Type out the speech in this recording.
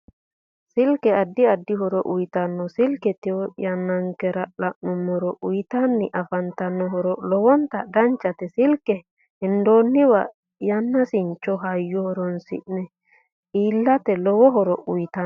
Silke addi addi horo uyiotanno silke tewo yannankera la'numoro uyiitanni afantanno horo lowonta danchate silke hendooniwa yanaasincho hayyo horoonise eanke iilate lowo horo uyiitanno